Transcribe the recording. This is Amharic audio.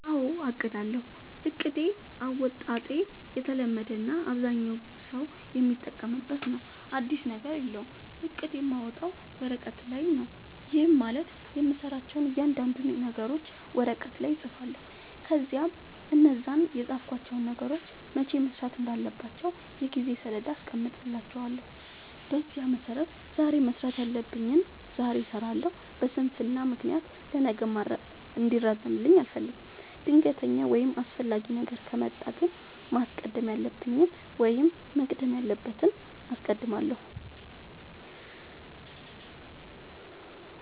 አዎ አቅዳለሁ። እቅድ አወጣጤ የተለመደ እና አብዛኛው ሠው የሚጠቀምበት ነው። አዲስ ነገር የለውም። እቅድ የማወጣው ወረቀት ላይ ነው። ይህም ማለት የምሠራቸውን እያንዳንዱን ነገሮች ወረቀት ላይ እፅፋለሁ። ከዚያ እነዛን የፃፍኳቸውን ነገሮች መቼ መሠራት እንዳለባቸው የጊዜ ሠሌዳ አስቀምጥላቸዋለሁ። በዚያ መሠረት ዛሬ መስራት ያለብኝን ዛሬ እሠራለሁ። በስንፍና ምክንያት ለነገ እንዲራዘምብኝ አልፈልግም። ድንገተኛ ወይም አስፈላጊ ነገር ከመጣ ግን ማስቀደም ያለብኝን ወይም መቅደም ያለበትን አስቀድማለሁ።